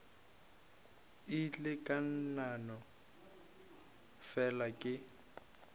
ile ka no fela ke